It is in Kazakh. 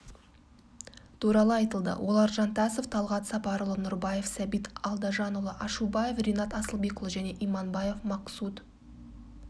туралы айтылды олар жантасов талгат сапарұлы нұрбаев сәбит алдажанұлы ашубаев ринат асылбекұлы және иманбаев максут